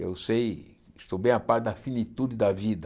Eu sei, estou bem a par da finitude da vida.